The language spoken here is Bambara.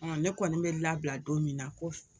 ne kɔni bɛ labila don min na ko f